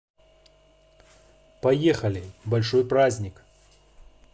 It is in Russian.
поехали большой праздник